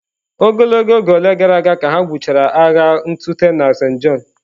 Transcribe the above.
Ogologo oge ole gara aga ka ha gwụchara agha ntụte na Saint John?